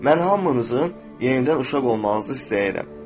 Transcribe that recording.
Mən hamınızın yenidən uşaq olmağınızı istəyirəm.